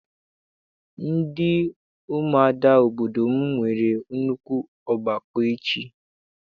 Ndị umuada obodo m nwere nnukwu ọgbakọ echi.